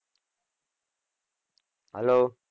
hello